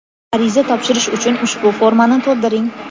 Ariza topshirish uchun ushbu formani to‘ldiring.